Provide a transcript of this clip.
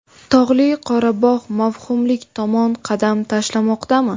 Tog‘li Qorabog‘ mavhumlik tomon qadam tashlamoqdami?.